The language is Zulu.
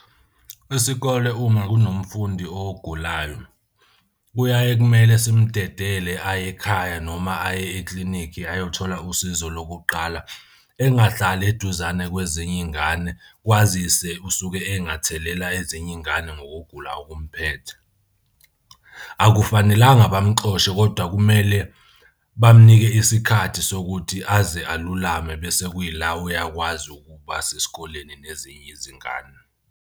Isikole uma kunomfundi ogulayo kuyaye kumele simdedele aye ekhaya noma aye eklinikhi ayothola usizo lokuqala. Engahlali eduzane kwezinye iy'ngane kwazise usuke engathelela ezinye iy'ngane ngokugula okumphethe. Akufanelanga bamuxoshe, kodwa kumele bamnike isikhathi sokuthi aze alulame bese kuyila uyakwazi ukuba sesikoleni nezinye izingane.